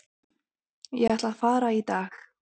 Ég ætla að fara í dag.